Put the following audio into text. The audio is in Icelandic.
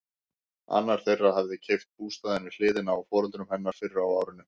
Annar þeirra hafði keypt bústaðinn við hliðina á foreldrum hennar fyrr á árinu.